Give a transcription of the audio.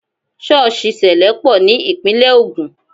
Sọ́ọ̀sì sẹlẹ pọ̀ ní Ìpínlẹ̀ Ogun